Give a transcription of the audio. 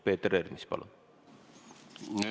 Peeter Ernits, palun!